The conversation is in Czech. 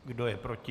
Kdo je proti?